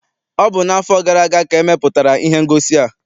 Ọ bụ n'afọ gara aga ka e mepụtara ihe ngosi a.